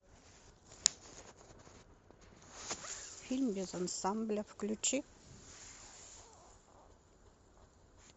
фильм без ансамбля включи